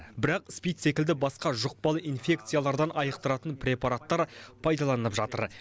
бірақ спид секілді басқа жұқпалы инфекциялардан айықтыратын препараттар пайдаланылып жатыр